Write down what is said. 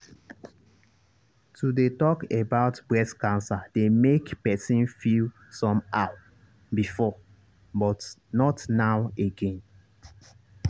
to dey talk about breast cancer dey make person feel some how before but not now again